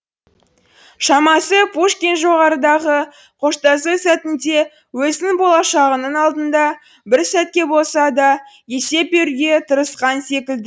шамасы пушкин жоғарыдағы қоштасу сәтінде өзінің болашағының алдында бір сәтке болса да есеп беруге тырысқан секілді